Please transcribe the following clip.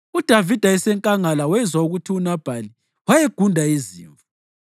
UDavida esenkangala wezwa ukuthi uNabhali wayegunda izimvu.